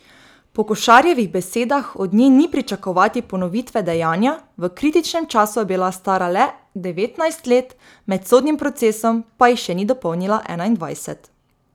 Po Košarjevih besedah od nje ni pričakovati ponovitve dejanja, v kritičnem času je bila stara le devetnajst let, med sodnim procesom pa jih še ni dopolnila enaindvajset.